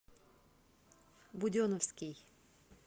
буденовский